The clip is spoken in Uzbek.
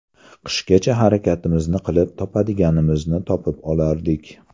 Qishgacha harakatimizni qilib topadiganimizni topib olardik.